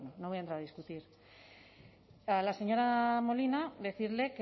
bueno no voy a entrar a discutir a la señora molina decirle